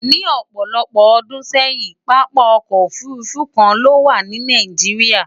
Ni òpòlopò odún séyìn, papa okò òfurufú kan lówà ní Nigeria.